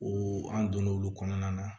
O an donn'olu kɔnɔna na